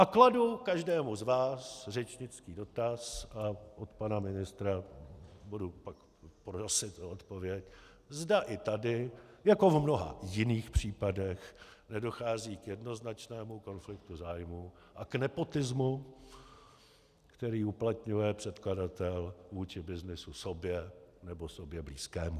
A kladu každému z vás řečnický dotaz a od pana ministra budu pak prosit o odpověď, zda i tady jako v mnoha jiných případech nedochází k jednoznačnému konfliktu zájmů a k nepotismu, který uplatňuje předkladatel vůči byznysu sobě nebo sobě blízkému.